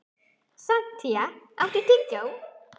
Santía, áttu tyggjó?